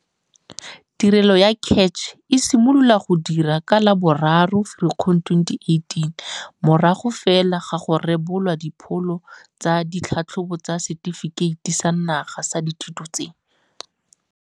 Tirelo ya CACH e simolola go dira ka la bo 3 Firikgong 2018, morago fela ga go rebolwa dipholo tsa ditlhatlhobo tsa Setefikeiti sa Naga sa Dithuto tse.